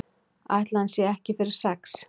Ætli hann sé ekki fyrir sex?